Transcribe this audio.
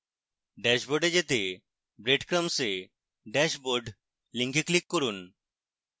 ড্যাশবোর্ডে যেতে breadcrumbs এ dashboard link click করুন